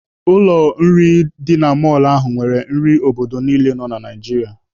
Ụlọ nri ndị mọlụ ahụ nwere nri obodo niile nọ na Naijiria.